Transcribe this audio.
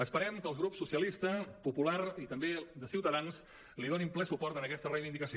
esperem que els grups socialistes popular i també de ciutadans li donin ple suport en aquesta reivindicació